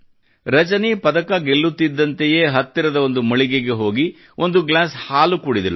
ರಜನಿ ಪದಕ ಗೆಲ್ಲುತ್ತಿದ್ದಂತೆಯೇ ಹತ್ತಿರದ ಒಂದು ಮಳಿಗೆಗೆ ಹೋಗಿ ಒಂದು ಗ್ಲಾಸ್ ಹಾಲನ್ನು ಕುಡಿದಳು